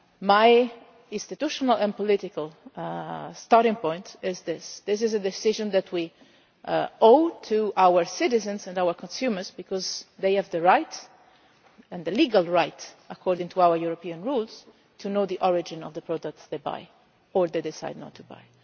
that. My institutional and political starting point is that this is a decision that we owe to our citizens and our consumers, because they have the right and the legal right, according to our European rules to know the origin of the products they buy or that they decide not